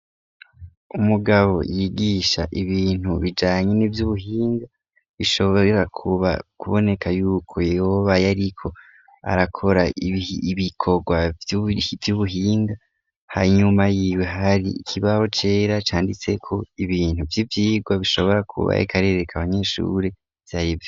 Umugabo yigisha ibintu bijanye n'ivyubuhinga bishobora kuba kuboneka yuko yoba yariko arakora ibikorwa vy'ubuhinga, hanyuma yiwe hari ikibaho cera canditseko ibintu vy'ivyirwa bishobora kuba yariko arereka abanyeshuri ivy'arivyo.